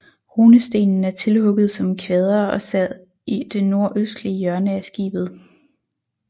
Runestenen er tilhugget som kvader og sad i det nordøstlige hjørne af skibet